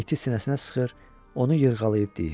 İti sinəsinə sıxır, onu yırğalayıb deyir: